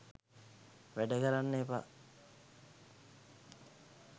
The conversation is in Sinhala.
වැඩ කරන්න එපා